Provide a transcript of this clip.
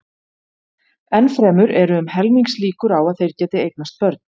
Enn fremur eru um helmingslíkur á að þeir geti eignast börn.